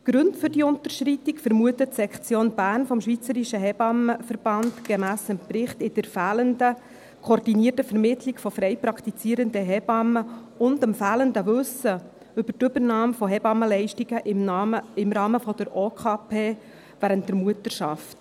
Die Gründe für diese Unterschreitung vermutet die Sektion Bern des Schweizerischen Hebammenverbands (SHV) gemäss Bericht in der fehlenden koordinierten Vermittlung von frei praktizierenden Hebammen und dem fehlenden Wissen über die Übernahme von Hebammenleistungen im Rahmen der Obligatorischen Krankenpflegeversicherung (OKP) während der Mutterschaft.